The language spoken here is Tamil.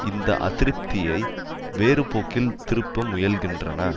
இந்த அதிருப்தியை வேறுபோக்கில் திருப்ப முயல்கின்றன